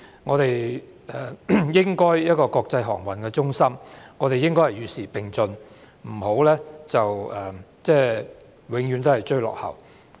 我們作為國際航運中心應該與時並進，不要永遠追落後。